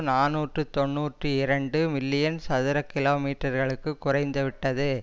நாநூற்று தொன்னூற்றி இரண்டு மில்லியன் சதுர கிலோமீட்டர்களுக்குக் குறைந்து விட்டது